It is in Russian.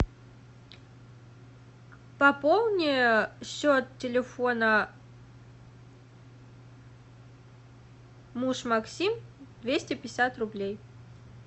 пополни счет телефона муж максим двести пятьдесят рублей